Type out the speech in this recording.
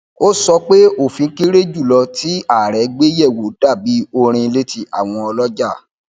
ó sọ pé òfin kéré jùlọ tí ààrẹ gbé yẹwò dà bí orin létí àwọn ọlọjà